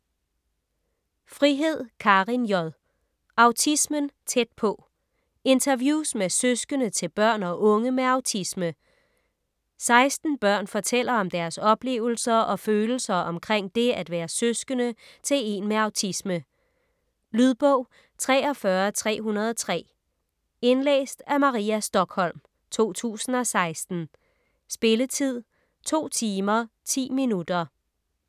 Frihed, Karin J.: Autismen tæt på: interviews med søskende til børn og unge med autisme 16 børn fortæller om deres oplevelser og følelser omkring det at være søskende til en med autisme. Lydbog 43303 Indlæst af Maria Stokholm, 2016. Spilletid: 2 timer, 10 minutter.